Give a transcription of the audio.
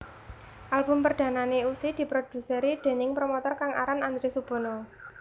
Album perdanané Ussy diproduseri déning promotor kang aran Andre Subono